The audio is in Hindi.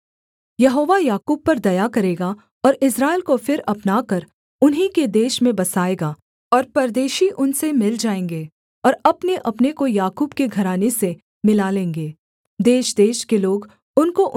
यहोवा याकूब पर दया करेगा और इस्राएल को फिर अपनाकर उन्हीं के देश में बसाएगा और परदेशी उनसे मिल जाएँगे और अपनेअपने को याकूब के घराने से मिला लेंगे